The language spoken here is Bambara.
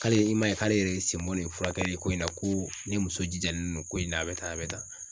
K'ale i m'a ye k'ale yɛrɛ i sen bɔ nin furakɛli ko in na ko ne muso jijalen don ko in na a bɛ tan a bɛ tan.